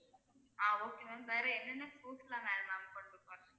ஆஹ் okay ma'am வேற என்னென்ன proofs எல்லாம் வேணும் ma'am கொண்டு போறதுக்கு